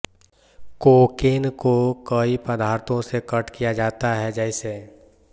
cocaine को कई पदार्थों से कट किया जाता है जैसे